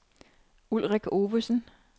Ulrik Ovesen